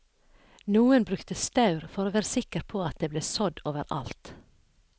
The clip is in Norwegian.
Noen brukte staur for å være sikker på at det ble sådd over alt.